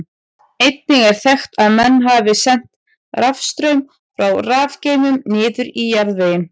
Einnig er þekkt að menn hafi sent rafstraum frá rafgeymum niður í jarðveginn.